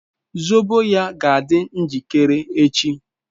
zobo ya ga adi njikere echi